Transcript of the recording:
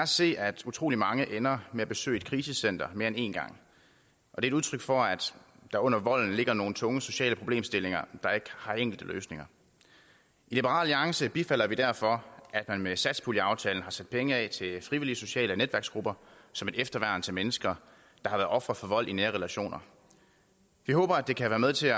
se at utrolig mange ender med at besøge et krisecenter mere end en gang det er udtryk for at der under volden ligger nogle tunge sociale problemstillinger der ikke har enkle løsninger i liberal alliance bifalder vi derfor at man med satspuljeaftalen har sat penge af til frivillige sociale netværksgrupper som et efterværn til mennesker der har været ofre for vold i nære relationer vi håber at det kan være med til